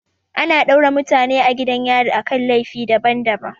Ana daure mutane a gidan yari akan laifi daban daban